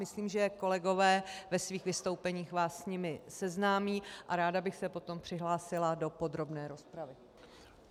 Myslím, že kolegové ve svých vystoupeních vás s nimi seznámí, a ráda bych se potom přihlásila do podrobné rozpravy.